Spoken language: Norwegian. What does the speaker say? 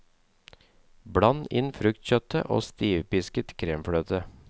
Bland inn fruktkjøttet og stivpisket kremfløte.